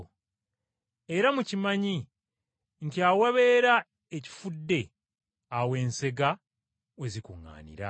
Era mukimanyi nti awabeera ekifudde awo ensega we zikuŋŋaanira.”